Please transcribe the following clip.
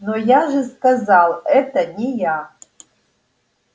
но я же сказал это не я